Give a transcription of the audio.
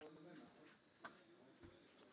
Þegar þú ert ekki að vinna, hvað gerirðu þá?